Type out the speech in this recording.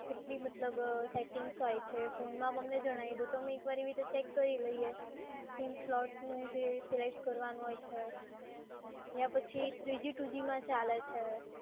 કેટલી મતલબ સેટિંગ્સ હોય છે? ફોનમાં આપ અમને જણાઈ દો તો અમે એકવાર એવી રીતે ચેક કરી લઈએ, sim slot નું જે સિલેક્ટ કરવાનું હોય છે, યા પછી three g two g માં ચાલે છે.